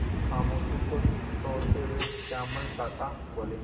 खामोशी को तोड़ते हुए श्यामल काका बोले